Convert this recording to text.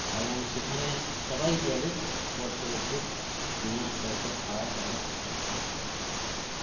এবং সেখানে সবাই গেলে করসেবকদের বিনা পয়সায় খাওয়া দাওয়া থাকার ব্যবস্থা আছে